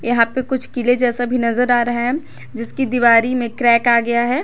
यहां पे कुछ किले जैसा भी नजर आ रहा है जिसकी दिवारी में क्रैक आ गया है।